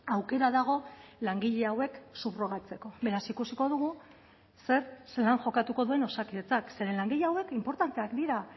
aukera dago langile hauek subrogatzeko beraz ikusiko dugu zer zelan jokatuko duen osakidetzak zeren langile hauek inportanteak dira